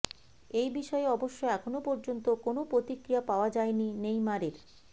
এই বিষয়ে অবশ্য এখনও পর্যন্ত কোনও প্রতিক্রিয়া পাওয়া যায়নি নেইমারের